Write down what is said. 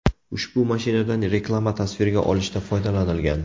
Ushbu mashinadan reklama tasvirga olishda foydalanilgan.